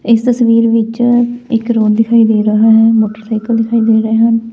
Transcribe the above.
ਇਸ ਤਸਵੀਰ ਵਿੱਚ ਇੱਕ ਦਿਖਾਈ ਦੇ ਰਹਾ ਹੈ ਮੋਟਰਸਾਈਕਲ ਦਿਖਾਈ ਦੇ ਰਹੇ ਹੈਂ।